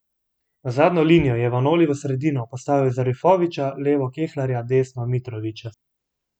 V zadnjo linijo je Vanoli v sredino postavil Zarifovića, levo Kelharja, desno Mitrovića.